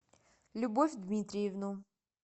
любовь дмитриевну